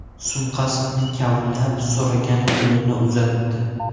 Sumkasini kavlab, so‘ragan pulini uzatdi.